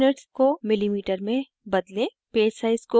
* default units को mm में बदलें